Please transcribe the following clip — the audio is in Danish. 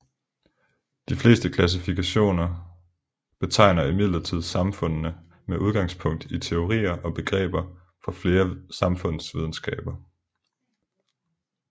De fleste klassifikationer betegner imidlertid samfundene med udgangspunkt i teorier og begreber fra flere samfundsvidenskaber